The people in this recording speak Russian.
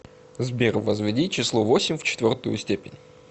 сбер возведи число восемь в четвертую степень